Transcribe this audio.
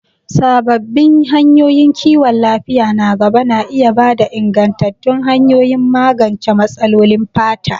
Sabbin hanyoyin kiwon lafiya na gaba na iya ba da ingantattun hanyoyin magance matsalolin fata.